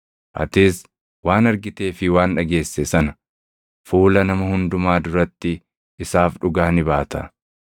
Atis waan argitee fi waan dhageesse sana fuula nama hundumaa duratti isaaf dhugaa ni baata.